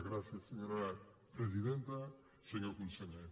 gràcies senyora presidenta senyor conseller